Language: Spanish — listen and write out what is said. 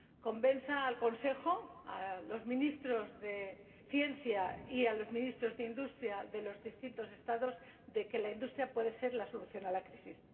convenza al Consejo, a los ministros de Ciencia y a los ministros de Industria de los distintos Estados, de que la industria puede ser la solución para la crisis.